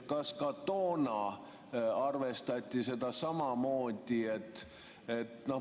Kas ka toona arvestati seda samamoodi?